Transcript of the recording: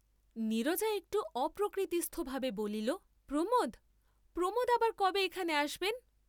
নীরজা একটু অপ্রকৃতিস্থ ভাবে বলিল, প্রমোদ, প্রমোদ আবার কবে এখানে আসবেন?